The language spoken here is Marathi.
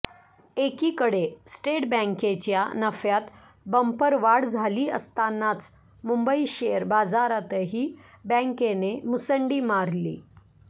एकीकडे स्टेट बँकेच्या नफ्यात बंपर वाढ झाली असतानाच मुंबई शेअर बाजारातही बँकेने मुसंडी मारली